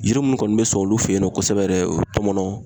Yiri munnu kɔni be sɔn olu fe yen nɔ kosɛbɛ yɛrɛ ,o ye tɔmɔnɔn